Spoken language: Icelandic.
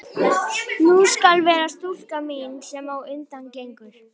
Sú skal vera stúlkan mín, sem á undan gengur.